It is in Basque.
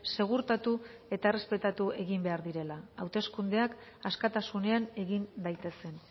segurtatu eta errespetatu egin behar direla hauteskundeak askatasunean egin daitezen